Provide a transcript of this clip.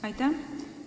Aitäh!